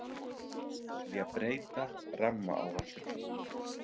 Vilja breyta rammaáætlun